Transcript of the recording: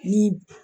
Ni